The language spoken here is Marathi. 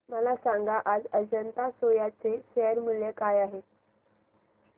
मला सांगा आज अजंता सोया चे शेअर मूल्य काय आहे